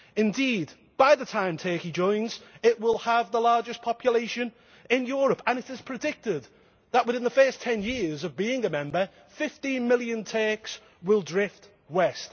Indeed, by the time Turkey joins, it will have the largest population in Europe and it is predicted that, within the first ten years of being a Member, 15 million Turks will drift west.